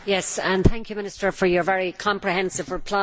Thank you, Minister, for your very comprehensive reply.